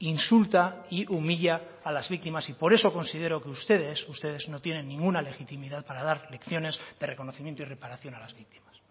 insulta y humilla a las víctimas y por eso considero que ustedes ustedes no tienen ninguna legitimidad para dar lecciones de reconocimiento y reparación a las víctimas